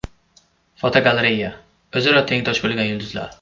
Fotogalereya: O‘zaro tengdosh bo‘lgan yulduzlar.